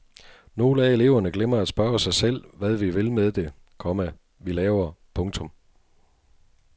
Nogle af eleverne glemmer at spørge sig selv hvad vi vil med det, komma vi laver. punktum